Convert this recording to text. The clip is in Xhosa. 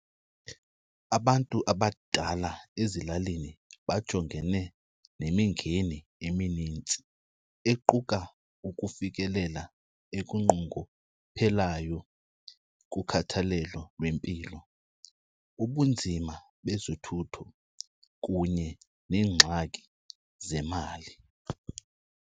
Abantu abadala ezilalini bajongene nemingeni eminintsi equka ukufikelela ekunqunguphelayo kukhathalelo lwempilo, ubunzima bezothutho kunye neengxaki zemali.